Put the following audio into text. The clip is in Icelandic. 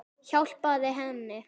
Hjálpað henni.